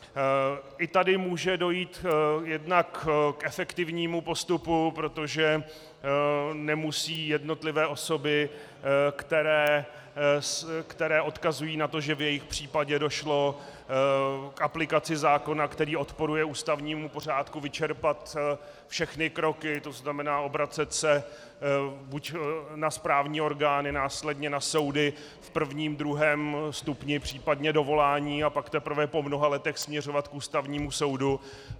I tady může dojít jednak k efektivnímu postupu, protože nemusí jednotlivé osoby, které odkazují na to, že v jejich případě došlo k aplikaci zákona, který odporuje ústavnímu pořádku, vyčerpat všechny kroky, to znamená obracet se buď na správní orgány, následně na soudy v prvním, druhém stupni, případně dovolání, a pak teprve po mnoha letech směřovat k Ústavnímu soudu.